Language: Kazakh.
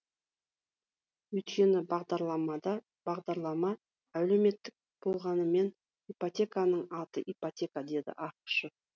өйткені бағдарлама әлеуметтік болғанымен ипотеканың аты ипотека дейді ақышев